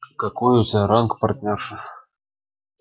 какой у тебя ранг партнёрша